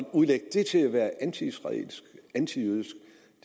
udlægge det til at være antiisraelsk antijødisk